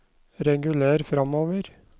reguler framover